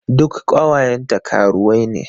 Duk ƙawayenta karuwai ne.